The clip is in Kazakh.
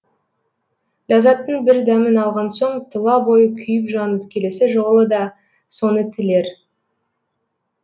ләззаттың бір дәмін алған соң тұла бойы күйіп жанып келесі жолы да соны тілер